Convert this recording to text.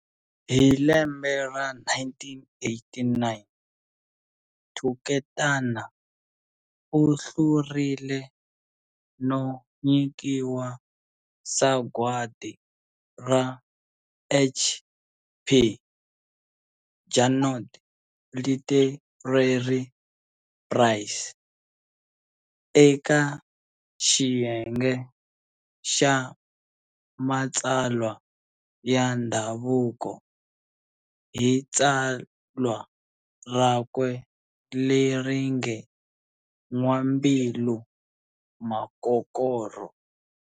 Hi lembe ra 1989, Thuketana u hlurile no nyikiwa sagwadi ra"H.P. Junod Literary Prize" eka xiyenge xa matsalwa ya ndhavuko, hi tsalwa rakwe leri nge "N'wambilu Makokorho".